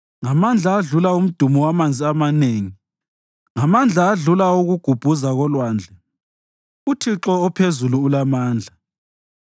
Ngamandla adlula umdumo wamanzi amanengi, ngamandla adlula awokugubhuza kolwandle uThixo ophezulu ulamandla.